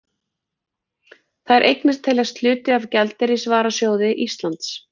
Þær eignir teljast hluti af gjaldeyrisvarasjóði Íslands.